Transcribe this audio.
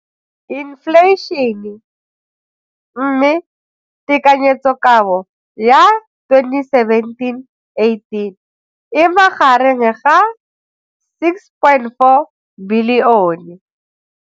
Infleišene, mme tekanyetsokabo ya 2017, 18 e magareng ga 6.4 bilione.